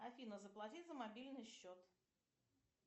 афина заплати за мобильный счет